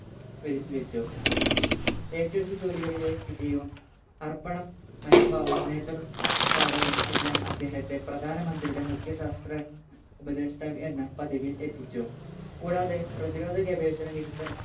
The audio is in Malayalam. വെരുത്തിവെച്ചു ഏറ്റെടുത്ത ജോലികളിലെ വിജയവും അർപ്പണ മനോഭാവവും നേത്ര പാഠവും എല്ലാം അദ്ദേഹത്തെ പ്രധാന മന്ത്രിയുടെ മുഖ്യ ശാസ്ത്ര ഉപദേഷ്ട്ടാവ്‌ എന്ന പദവിയിൽ എത്തിച്ചു